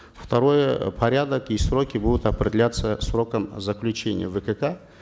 второе порядок и сроки будут определяться сроком заключения вкк